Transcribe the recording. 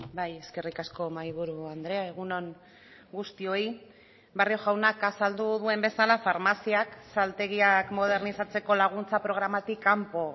bai eskerrik asko mahaiburu andrea egun on guztioi barrio jaunak azaldu duen bezala farmaziak saltegiak modernizatzeko laguntza programatik kanpo